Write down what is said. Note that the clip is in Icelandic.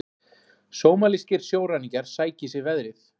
Sómalískir sjóræningjar sækja í sig veðrið